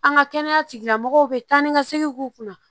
An ka kɛnɛya tigilamɔgɔw bɛ taa ni ka segin k'u kunna